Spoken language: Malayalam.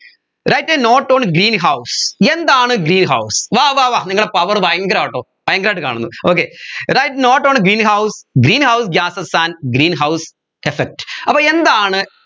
write a note on greenhouse എന്താണ് greenhouse വാ വാ വാ നിങ്ങളെ power ഭയങ്കരാട്ടോ ഭയങ്കരയിട്ട് കാണുന്നു okay right note on greenhouse greenhouse gases and greenhouse effect അപ്പോ എന്താണ്